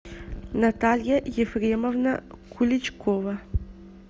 наталья ефремовна куличкова